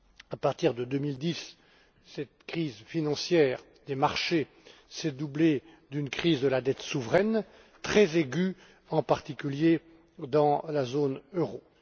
À partir de 2010, cette crise financière des marchés s'est doublée d'une crise de la dette souveraine, très aiguë, en particulier dans la zone euro.